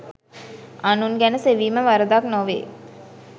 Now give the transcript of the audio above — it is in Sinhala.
අනුන් ගැන සෙවීම වරදක් නොවේ.